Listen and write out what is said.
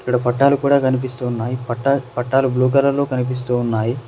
ఇక్కడ పట్టాలు కూడా కనిపిస్తున్నాయి పట్ పట్టాలు బ్లూ కలర్ లో కనిపిస్తూ ఉన్నాయి.